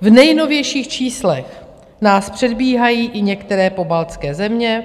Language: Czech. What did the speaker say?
V nejnovějších číslech nás předbíhají i některé pobaltské země